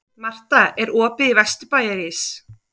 Marta, er opið í Vesturbæjarís?